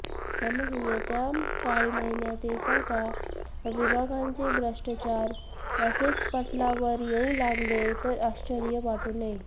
त्यामुळे येत्या काही महिन्यात एकेका विभागांचे भ्रष्टाचार असेच पटलावर येऊ लागले तर आश्चर्य वाटू नये